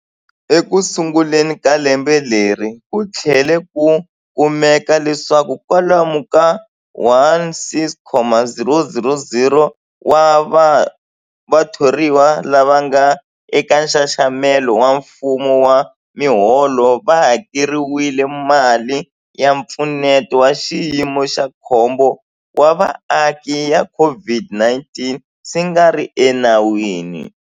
Ekusunguleni ka lembe leri, ku tlhele ku kumeka leswaku kwalomu ka 16,000 wa vathoriwa lava nga eka nxaxamelo wa mfumo wa miholo va hakeriwile mali ya Mpfuneto wa Xiyimo xa Khombo wa Vaaki ya COVID-19 swi nga ri enawini.